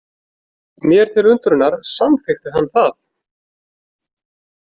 Mér til undrunar samþykkti hann það.